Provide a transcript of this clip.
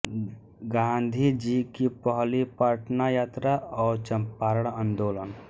गांधी जी की पहली पटना यात्रा और चंपारण आंदोलन